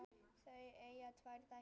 Þau eiga saman tvær dætur.